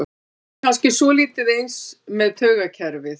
Þetta er kannski svolítið eins með taugakerfið.